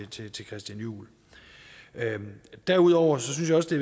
til christian juhl derudover synes jeg at det